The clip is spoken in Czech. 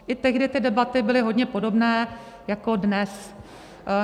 I tehdy ty debaty byly hodně podobné jako dnes.